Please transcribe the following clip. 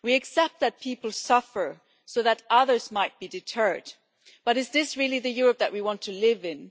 We accept that people suffer so that others might be deterred, but is this really the Europe that we want to live in?